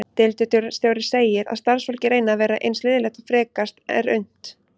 Deildarstjóri segir að starfsfólkið reyni að vera eins liðlegt og frekast er unnt.